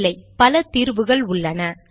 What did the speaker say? இல்லை பல தீர்வுகள் உள்ளன